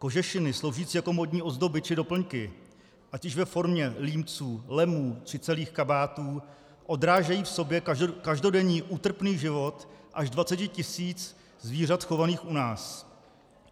Kožešiny sloužící jako módní ozdoby či doplňky, ať již ve formě límců, lemů či celých kabátů, odrážejí v sobě každodenní útrpný život až dvaceti tisíc zvířat chovaných u nás.